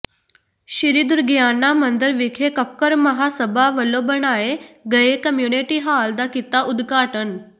ਸ੍ਰੀ ਦੁਰਗਿਆਨਾ ਮੰਦਰ ਵਿਖੇ ਕੱਕੜ ਮਹਾਸਭਾ ਵਲੋਂ ਬਣਾਏ ਗਏ ਕਮਿਊਨਿਟੀ ਹਾਲ ਦਾ ਕੀਤਾ ਉਦਘਾਟਨ